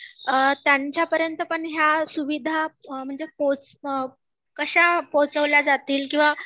त्यांच्यापर्यंत पण ह्या सुविधा म्हणजे कश्या पोहोचवल्या जातील किंवा